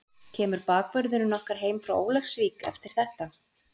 Kemur bakvörðurinn okkar heim frá Ólafsvík eftir þetta?